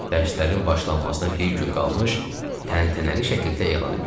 Dərslərin başlanmasına bir gün qalmış təntənəli şəkildə elan elədi.